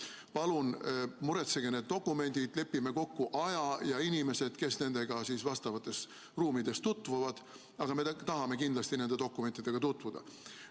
Palun muretsege need dokumendid, lepime kokku aja ja inimesed, kes nendega vastavates ruumides tutvuvad, aga me tahame kindlasti nende dokumentidega tutvuda.